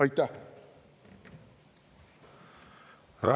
Aitäh!